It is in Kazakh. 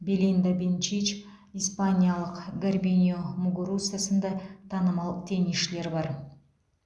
белинда бенчич испаниялық гарбинье мугуруса сынды танымал теннисшілер бар